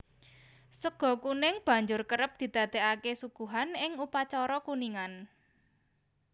Sega kuning banjur kerep didadèkaké suguhan ing upacara kuningan